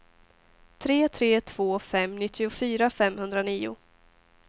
tre tre två fem nittiofyra femhundranio